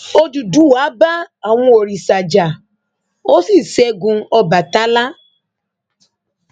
òdúdúwá bá àwọn òrìṣà jà ó sì ṣẹgun ọbatala